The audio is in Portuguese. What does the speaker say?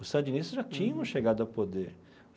Os sandinistas já tinham chegado ao poder.